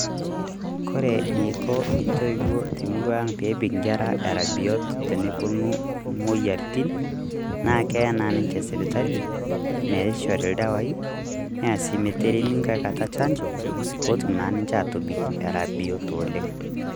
Kore neiko intoiwuo te murua ang peebik inkerra era biot tenewuonu moyiaritin, naa keya naa ninche sipitali, meishori ildawai, neya sii meteremi nkaikata chanjo, potum naa ninche atobik era biot oleng.